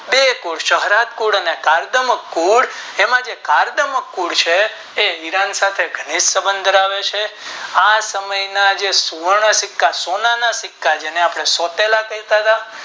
બે કુલ સંહારક કુળ અને કાર્દમક કુળ એમાં જે કાર્દમક કુળ છે એ ઈરાન સાથે ધનિક સબંધ ધરાવે છે આ સમય ના ને સુવર્ણ સિક્કા સોનાના સિક્કા જેને આપણે સોતેલા કહેતા હતા.